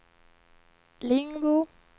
Lingbo